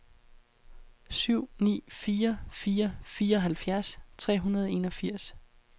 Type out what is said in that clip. syv ni fire fire fireoghalvfjerds tre hundrede og enogfirs